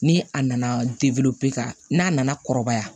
Ni a nana ka n'a nana kɔrɔbaya